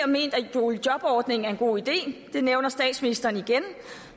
boligjobordningen er en god idé og det nævner statsministeren igen